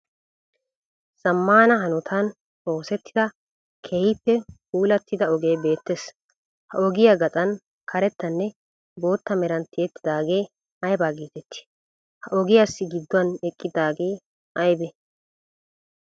Zamaana hanotan oosetida keehippe puulatidda ogee beettees. Ha ogiyaa gaxan karettanne bootta meran tiyettidagee ayba geetettii? Ha ogiyaasi giduwan eqqidagee aybee?